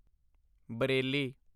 Bareilly